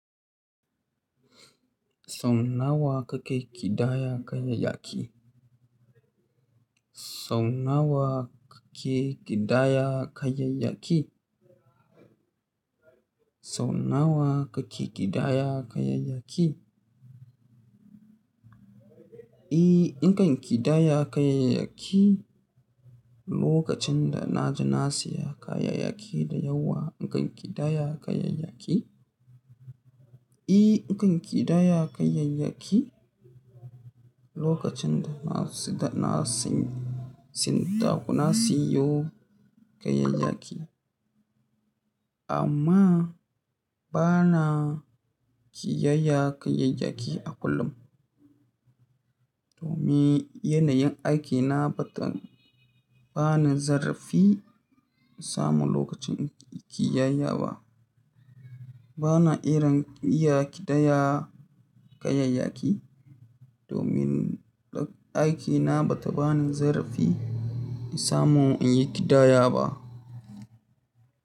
Sau nawa kake ƙidaya kayayyaki? Sau nawa kake ƙidaya kayayyaki? Sau nawa kake ƙidaya kayayyaki? E, in kan ƙidaya kayayyaki lokacin da na ji na siya kayayyaki da yawa, in kan ƙidaya kayayyaki. E in kan ƙidaya kayayyaki lokacin da na sida, na sin, sintako, na siyo kayayyaki. Amma bana kiyaya kayayyaki a kullum. Domin yanayin aikina bata ba ni zarafi samun lokacin kiyaya ba. Bana irin iya ƙidaya kayayyaki domin aiki na bata bani zarfi in samu in yi ƙidaya ba.